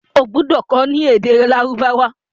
o gbódò kò ní èdè Lárúbáwá!